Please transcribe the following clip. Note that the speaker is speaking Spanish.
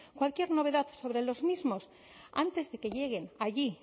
cualquier novedad sobre los mismos antes de que lleguen allí